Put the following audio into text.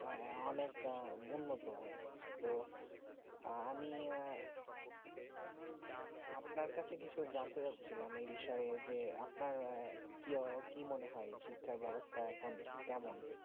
অনেক উন্নত তো আমিও আপনার কাছে কিছু জানতে চা ছিলাম যে বিষয় আপনার কি মনে হয়ে যে শিক্ষাব্যবস্থা এখন কেমন